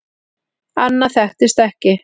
Annað þekktist ekki.